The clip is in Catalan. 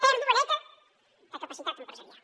pèrdua neta de capacitat empresarial